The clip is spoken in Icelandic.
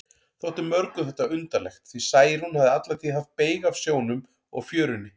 Þótti mörgum þetta undarlegt, því Særún hafði alla tíð haft beyg af sjónum og fjörunni.